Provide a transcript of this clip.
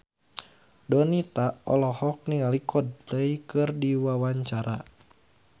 Donita olohok ningali Coldplay keur diwawancara